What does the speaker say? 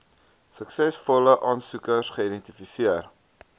suksesvolle aansoekers geidentifiseer